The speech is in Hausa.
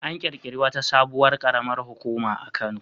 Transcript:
An ƙirƙiri wata sabuwar ƙaramar hukuma a Kano.